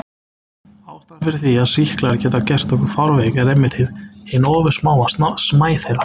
Ástæðan fyrir því að sýklar geta gert okkur fárveik er einmitt hin ofursmáa smæð þeirra.